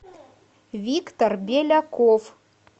виктор беляков